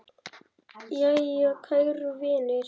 Jæja, kæru vinir.